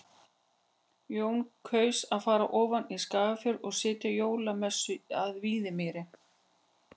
Jón kaus að fara ofan í Skagafjörð og sitja jólamessu að Víðimýri.